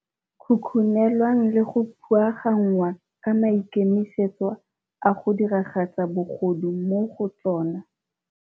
khukhunelwang le go phuagannngwa ka maikemisetso a go diragatsa bogodu mo go tsona.